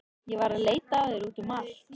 Ég var að leita að þér út um allt.